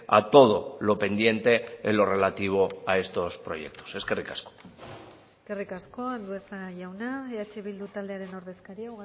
a todo lo pendiente en lo relativo a estos proyectos eskerrik asko eskerrik asko andueza jauna eh bildu taldearen ordezkaria